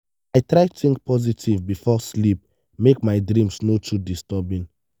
i try think positive before sleep make my dreams no too disturbing.